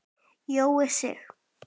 Jói Sig.